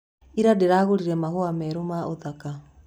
Ira ndĩragũrire mahũa merũ ma ũthaka.